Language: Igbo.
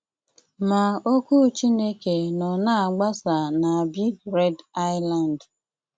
Má ókwú Chínéké nó ná-ágbásá ná Bíg Réd Ísland.